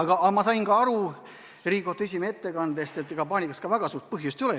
Samas ma sain Riigikohtu esimehe ettekandest aru, et paanikaks väga suurt põhjust ei ole.